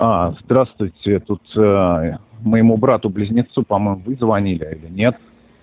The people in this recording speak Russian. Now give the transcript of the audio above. аа здравствуйте я тут моему брату близнецу по-моему вы звонили или нет